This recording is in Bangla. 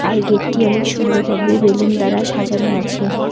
আর গেটটি অনেক সুন্দর ভাবে বেলুন দ্বারা সাজানো আছে।